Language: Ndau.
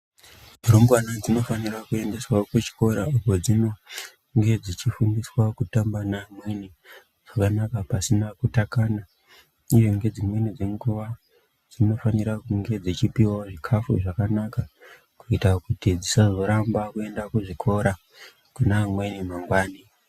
Rumbwana dzinofanira kuendeswa kuchikora kwadzinonge dzichifundiswa kutamba meamweni zvakanaka pasina kutakana, uye ngedzimweni dzenguva dzinofanira kunge dzichipivavo zvikafu zvakanaka. Kuita kuti dzisazoramba kuenda kuzvikora kuna amweni mangwani.